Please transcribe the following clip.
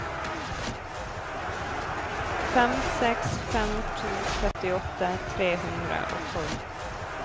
fem seks fem to trettiåtte tre hundre og tolv